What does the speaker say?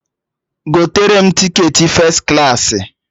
Gotere m tiketi fes klaasị!